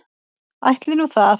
Ætli nú það.